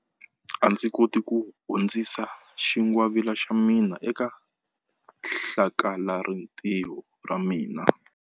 A ndzi koti ku hundzisa xingwavila xa mina eka hlakalarintiho ra ra mina.